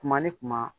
Kuma ni kuma